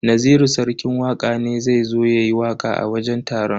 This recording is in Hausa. Naziru sarki waka ne zai zo yayi waka a wajen taron.